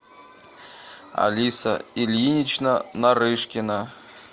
алиса ильинична нарышкина